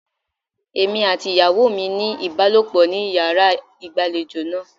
Èmi àti ìyàwó mi ní ìbálòpọ̀ ní yàrá ìgbàlejò náà.